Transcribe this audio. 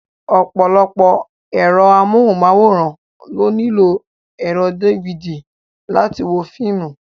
Ọ̀pọ̀lọpọ̀ ẹ̀rọ amóhùnmáwòrán ló nílò ẹ̀rọ dífidì láti wo fíìmù.